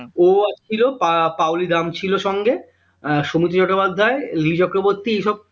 ও ছিল পা পাওলি দাম ছিল সঙ্গে আহ সৌমিত্র চ্যাট্টাপাধ্যায়, লিলি চক্রবর্তী এইসব